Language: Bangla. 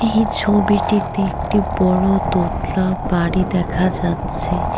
এই ছবিটিতে একটি বড়ো দোতলা বাড়ি দেখা যাচ্ছে।